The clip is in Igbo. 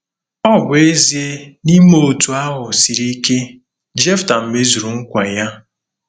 Ọ bụ ezie na ime otú ahụ siri ike, Jefta mezuru nkwa ya